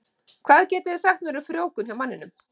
Hvað getið þið sagt mér um frjóvgun hjá manninum?